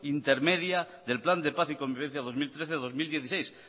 intermedia del plan de paz y convivencia dos mil trece dos mil dieciséis